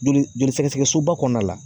Joli joli sɛgɛsɛgɛ soba kɔnɔna la